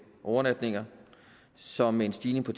overnatninger som med en stigning på